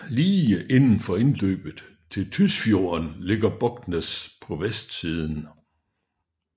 Lige indenfor indløbet til Tysfjorden ligger Bognes på vestsiden